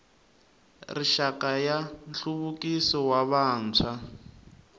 rixaka ya nhluvukiso wa vantshwa